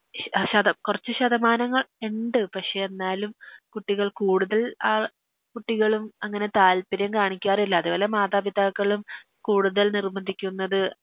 ശതം കൊറച്ച് ശതമാനങ്ങൾ ഇണ്ട് പക്ഷേ എന്നാലും കുട്ടികൾ കൂടുതൽ ആ കുട്ടികളും താൽപ്പര്യം കാണിക്കാറില്ല അതെ പോലെ മാതാപിതാക്കളും കൂടുതൽ നിർബന്ധിക്കുന്നത്